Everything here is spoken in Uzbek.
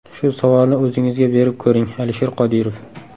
Shu savolni o‘zingizga berib ko‘ring, Alisher Qodirov.